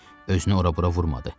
Özünü ora-bura vurmadı.